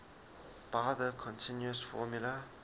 by the continuous formula